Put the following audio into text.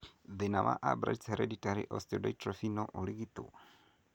Thĩna wa Albright's hereditary osteodystrophy no ũrigitwo?